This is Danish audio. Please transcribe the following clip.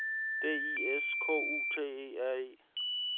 D I S K U T E R E